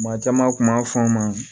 Maa caman kun b'a fɔ n ma